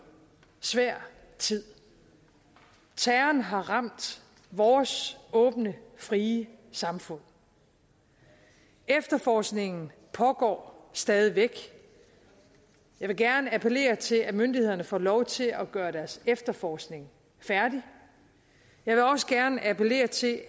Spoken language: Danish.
svær tid terroren har ramt vores åbne frie samfund efterforskningen pågår stadig væk jeg vil gerne appellere til at myndighederne får lov til at gøre deres efterforskning færdig jeg vil også gerne appellere til i